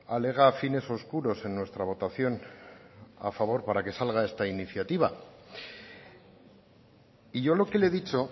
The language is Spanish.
alega fines oscuros en nuestra votación a favor para que salga esta iniciativa y yo lo que le he dicho